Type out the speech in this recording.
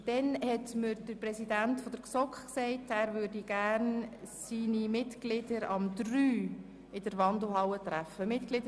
Des Weiteren hat mir der Kommissionspräsident der GSoK mitgeteilt, dass er seine Mitglieder um 15.00 Uhr in der Wandelhalle treffen möchte.